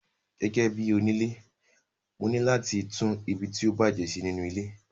Gẹ́gẹ́bí onile, mo ní láti tún ibi tí ó bá bàjé ṣe nínú ilé.